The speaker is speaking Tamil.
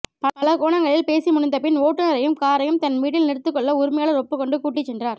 பல கோணங்களில் பேசி முடித்தபின் ஓட்டுநரையும் காரையும் தன் வீட்டில் நிறுத்திக்கொள்ள உரிமையாளர் ஒப்புக்கொண்டு கூட்டிச்சென்றார்